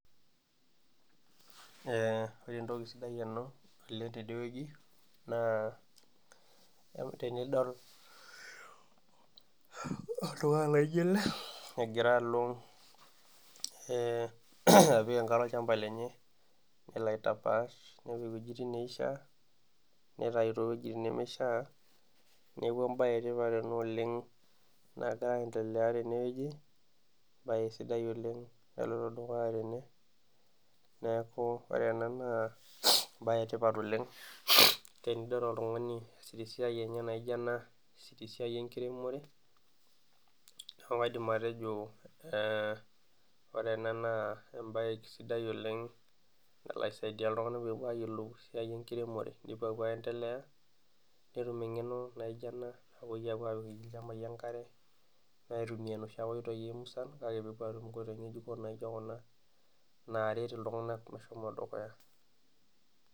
Ee ore entoki sidai oleng tene wueji naa tenidol oltungani laijo ele egira alo apik ankare olchampa lenye, nelo aitapaash apik iwuejitin nishaa, nitayu too wuejitin nemeishaa. neeku ebaye etipat ena oleng nagira aendelea tene wueji, ebae sidai oleng naloito dukuya tene, neeku ore ena naa ebae etipat, oleng, tenidol oltungani tesiai enye, naijo ena tesiai enkiremore, neeku kaidim atejo ore ena naa, ebae sidai oleng, nalo aisidai iltunganak peepuo ayiolou esiai, enkiremore nepuo aapuo aendelea netum eng'eno, naijo ena nepuo apik ilchampai enkarw, aitumia inoshi ake oitoi musan, nepuo aaret iltunganak meshomo dukuya.